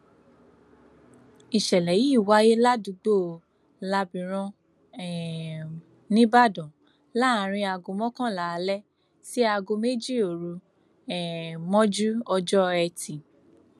ìṣẹlẹ yìí wáyé ládùúgbò lábìrán um nìbàdàn láàrin aago mọkànlá alẹ sí aago méjì òru um mọjú ọjọ etí